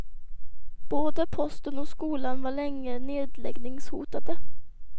Både posten och skolan var länge nedläggningshotade.